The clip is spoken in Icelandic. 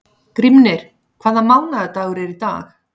Grímnir, hvaða mánaðardagur er í dag?